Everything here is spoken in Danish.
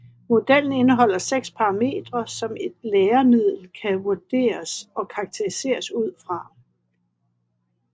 Modellen indeholder seks parametre som et læremiddel kan vurderes og karakteriseres ud fra